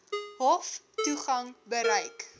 hof toegang beperk